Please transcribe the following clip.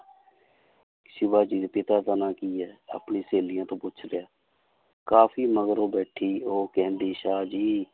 ਸਿਵਾ ਜੀ ਦੇ ਪਿਤਾ ਦਾ ਨਾਂ ਕੀ ਆਪਣੀ ਸਹੇਲੀਆਂ ਤੋਂ ਪੁੱਛ ਰਿਹਾ, ਕਾਫ਼ੀ ਮਗਰੋਂ ਬੈਠੀ ਉਹ ਕਹਿੰਦੀ ਸ਼ਾਹ ਜੀ,